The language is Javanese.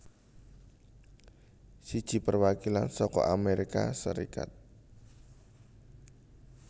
Siji Perwakilan saka Amérika Sarékat